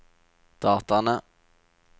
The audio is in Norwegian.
dataene